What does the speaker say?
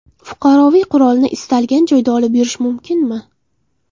Fuqaroviy qurolni istalgan joyda olib yurish mumkinmi?